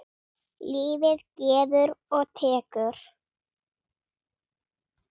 Lífið gefur og tekur.